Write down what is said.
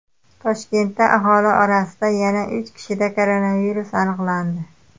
Toshkentda aholi orasida yana uch kishida koronavirus aniqlandi.